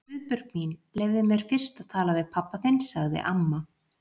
Guðbjörg mín, leyfðu mér fyrst að tala við pabba þinn sagði amma.